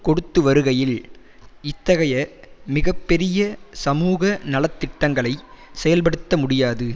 கொடுத்துவருகையில் இத்தகைய மிக பெரிய சமூக நல திட்டங்களை செயல்படுத்த முடியாது